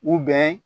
U bɛ